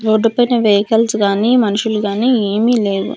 Road పైన vehicles గాని మనుషులు గాని ఏమీ లేవు.